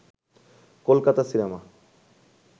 Kolkata cinema